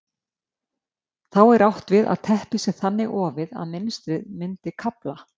Þá er átt við að teppið sé þannig ofið að mynstrið myndi kafla.